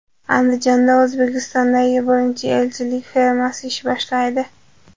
Andijonda O‘zbekistondagi birinchi echkichilik fermasi ish boshlaydi.